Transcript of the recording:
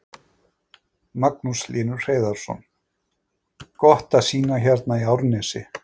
Magnús Hlynur Hreiðarsson: Gott að sýna hérna í Árnesi?